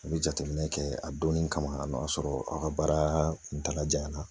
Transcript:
A bɛ jateminɛ kɛ a donnin kama a n'o y'a sɔrɔ aw ka baara kuntagajanna